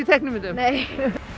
teiknimyndum nei